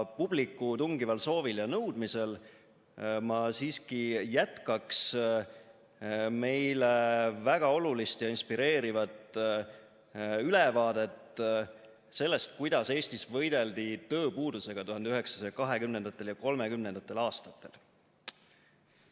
Publiku tungival soovil ja nõudmisel ma siiski jätkaks meile väga olulist ja inspireerivat ülevaadet sellest, kuidas Eestis võideldi tööpuudusega 1920. ja 1930. aastatel.